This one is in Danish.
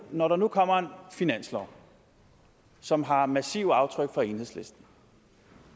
når der nu kommer en finanslov som har massive aftryk fra enhedslisten